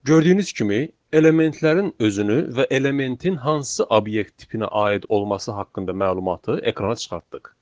Gördüyünüz kimi elementlərin özünü və elementin hansı obyekt tipinə aid olması haqqında məlumatı ekrana çıxartdıq.